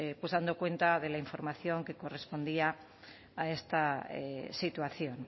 dando cuenta de la información que correspondía a esta situación